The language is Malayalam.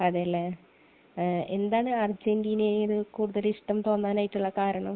അതേലെ. എന്താണ് അര്ജന്റീനയോട്‌ കൂടുതൽ ഇഷ്ടം തോന്നാനായിട്ടുള്ള കാരണം?